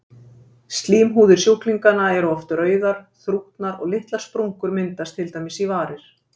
Slímhúðir sjúklinganna eru oft rauðar, þrútnar og litlar sprungur myndast til dæmis í varir.